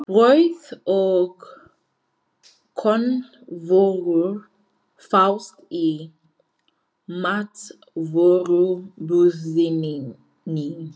Brauð og kornvörur fást í matvörubúðinni.